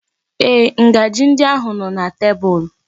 Ee, ngaji ndi ahụ nọ na tebụl.